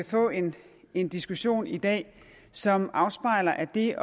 får en en diskussion i dag som afspejler at det at